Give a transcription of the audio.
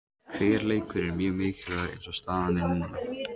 Hver leikur er mjög mikilvægur eins og staðan er núna.